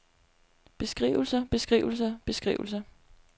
beskrivelser beskrivelser beskrivelser